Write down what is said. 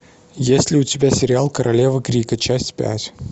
есть ли у тебя сериал королева крика часть пять